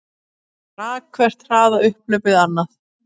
Þá rak hvert hraðaupphlaupið annað